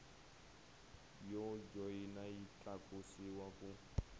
yo joyina yi tlakusiwa ku